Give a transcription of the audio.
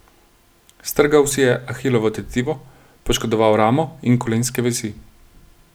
Strgal si je ahilovo tetivo, poškodoval ramo in kolenske vezi.